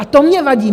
A to mně vadí.